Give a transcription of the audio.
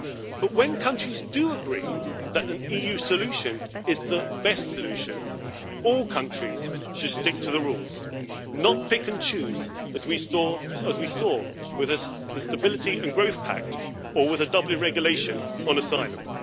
But when countries do agree that an EU solution is the best solution, all countries should stick to the rules and not pick and choose, as we saw with the Stability and Growth Pact or with the Dublin Regulation on asylum.